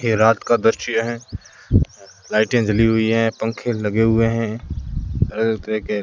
ये रात का दृश्य है लाइटे जली हुई है पंखे लगे हुए है अलग तरह के --